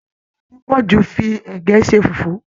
Arábìnrin Adepoju fí ẹgẹ ṣe fufu.